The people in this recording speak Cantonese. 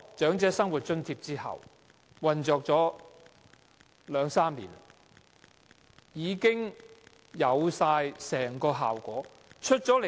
長者生活津貼引入後已運作了兩三年，理應有成效。